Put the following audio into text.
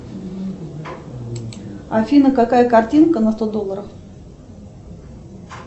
афина какая картинка на сто долларов